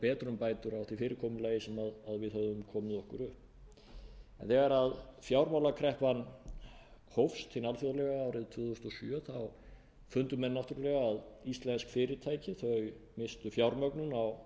betrumbætur á því fyrirkomulagi sem við höfum komið okkur upp en þegar fjármálakreppan hófst hin alþjóðlega árið tvö þúsund og sjö þá fundu menn náttúrlega að íslensk fyrirtæki misstu fjármögnun á